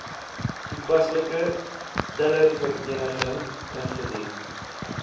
toepaslike telersvereniging ingedien